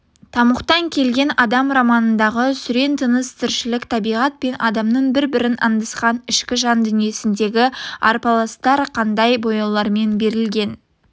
тамұқтан келген адам романындағы сүрең тыныс тіршілік табиғат пен адамның бір-бірін аңдысқан ішкі жан дүниесіндегі арпалыстар қандай бояулармен берілген